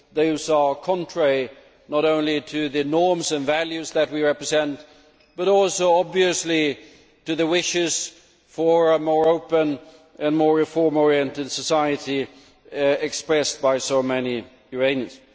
Those are contrary not only to the norms and values that we represent but also, obviously, to the wishes for a more open and more reform oriented society expressed by so many Iranians.